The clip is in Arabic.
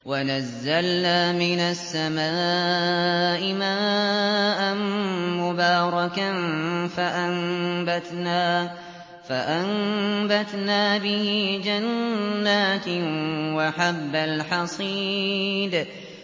وَنَزَّلْنَا مِنَ السَّمَاءِ مَاءً مُّبَارَكًا فَأَنبَتْنَا بِهِ جَنَّاتٍ وَحَبَّ الْحَصِيدِ